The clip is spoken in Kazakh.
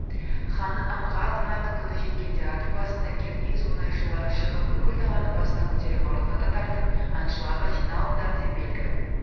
ханның аңға аттанатын күні жеткенде адыр басына керней-зурнайшылары шығып бүкіл даланы басына көтере барылдата тартып аңшыларға жиналыңдардеп белгі